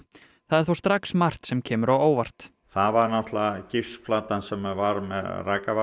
það er þó strax margt sem kemur á óvart það var sem var með